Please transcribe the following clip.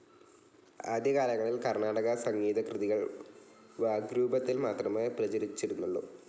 ആദ്യകാലങ്ങളിൽ കർണാടക സംഗീതകൃതികൾ വാഗ്രൂപത്തിൽ മാത്രമേ പ്രചരിച്ചിരുന്നുള്ളൂ.